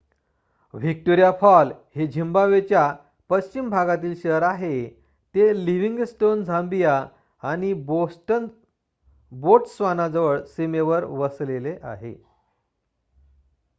Victoria fall हे झिम्बाब्वेच्या पश्चिम भागातील शहर आहे ते लिव्हिंगस्टोन झाम्बिया आणि बोट्स्वानाजवळ सीमेवर वसलेले आहे